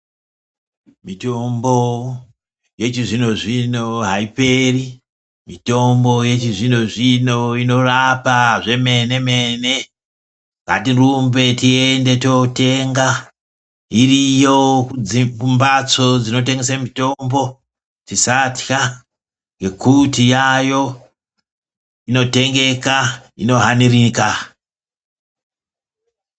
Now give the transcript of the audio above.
Mitombo yechizvino-zvino haiperi mitombo yechizvino-zvino inorapa zvemene-mene ngatirumbe tiende totenga iriyo dzimbatso dzinotengese mitombo tisatwa ngekuti yayo inotengeka inohanirika.